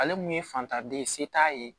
Ale mun ye fantanden ye se t'a ye